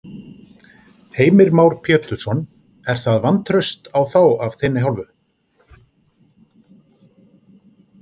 Heimir Már Pétursson: Er það vantraust á þá af þinni hálfu?